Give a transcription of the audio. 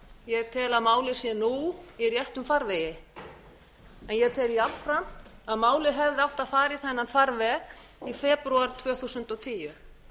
ég tel að málið sé nú í réttum farvegi ég tel jafnframt að málið hefði átt að fara í þann farveg í febrúar tvö þúsund og tíu